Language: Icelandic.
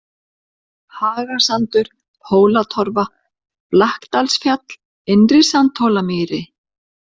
Hagasandur, Hólatorfa, Blakkdalsfjall, Innri-Sandhólamýri